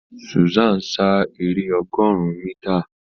Susan sá èrè ọgọrùn mítà.